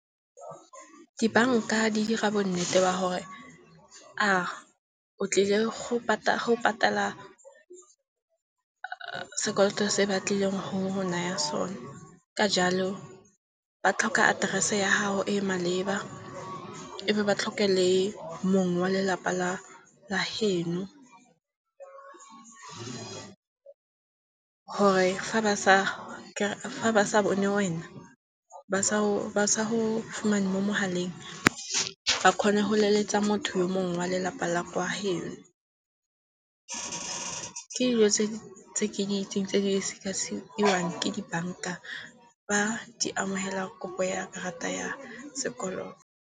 Dibanka di dira bonnete ba gore a o tlile go patala sekoloto se batlileng go go naya sone. Ka jalo, ba tlhoka address-e ya gago e e maleba, e be ba tlhoke le mong wa lelapa la heno. Gore fa ba sa bone wena, ba sa go fumane mo mogaleng ba kgone go leletsa motho yo mongwe wa lelapa la kwa geno. Ke dilo tse ke di itseng tse di sekasekiwang ke dibanka ba di amogela kopo ya karata ya sekoloto.